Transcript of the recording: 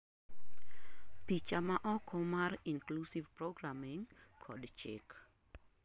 picha maoko mar inclusive programming kod chik